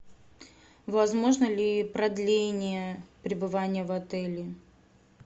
возможно ли продление пребывания в отеле